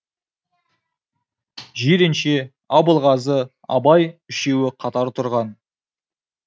жиренше абылғазы абай үшеуі қатар тұрған